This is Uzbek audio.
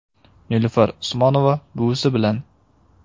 Nilufar Usmonova buvisi bilan.